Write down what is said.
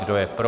Kdo je pro?